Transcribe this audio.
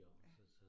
Ja